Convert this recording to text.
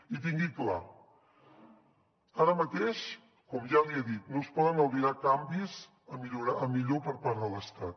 i tingui ho clar ara mateix com ja li he dit no es poden albirar canvis a millor per part de l’estat